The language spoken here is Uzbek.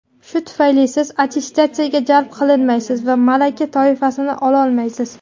Shu tufayli siz attestatsiyaga jalb qilinmaysiz va malaka toifasini ololmaysiz.